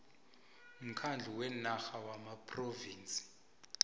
mkhandlu wenarha wamaphrovinsi